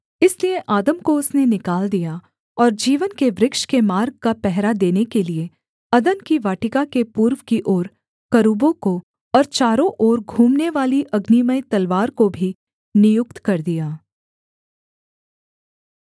इसलिए आदम को उसने निकाल दिया और जीवन के वृक्ष के मार्ग का पहरा देने के लिये अदन की वाटिका के पूर्व की ओर करूबों को और चारों ओर घूमनेवाली अग्निमय तलवार को भी नियुक्त कर दिया